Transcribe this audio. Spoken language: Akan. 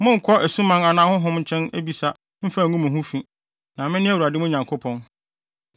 “ ‘Monnkɔ asuman anaa ahonhom nkyɛn abisa mmfa ngu mo ho fi, na mene Awurade mo Nyankopɔn.